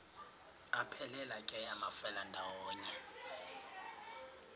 aphelela ke amafelandawonye